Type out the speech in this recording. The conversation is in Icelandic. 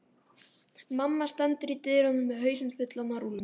Mamma stendur í dyrunum með hausinn fullan af rúllum.